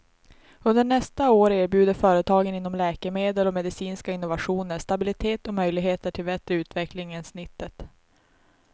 Under nästa år erbjuder företagen inom läkemedel och medicinska innovationer stabilitet och möjligheter till bättre utveckling än snittet.